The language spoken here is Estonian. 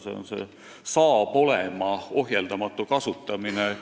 See on "saab olema" ohjeldamatu kasutamine.